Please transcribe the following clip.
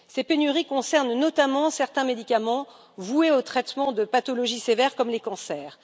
Ces pénuries concernent notamment certains médicaments voués au traitement de pathologies sévères comme les cancers.